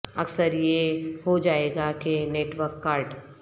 اکثر یہ ہو جائے گا کے نیٹ ورک کارڈ